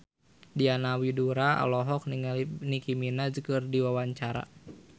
Diana Widoera olohok ningali Nicky Minaj keur diwawancara